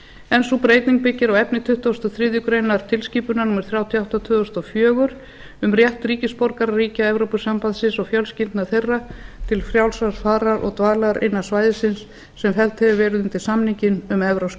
en sú breyting byggir á efni tuttugasta og þriðju grein tilskipunar númer þrjátíu og átta tvö þúsund og fjögur um rétt ríkisborgara ríkja evrópusambandsins og fjölskyldna þeirra til frjálsrar farar og dvalar innan svæðisins sem felld hefur verið undir samninginn um evrópska